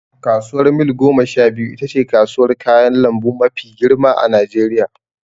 Kasuwar Mil goma sha biyu itace kasuwar kayan lambu mafi girma a najeriya